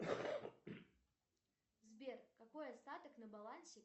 сбер какой остаток на балансе